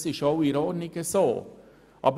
Dies ist auch in Ordnung.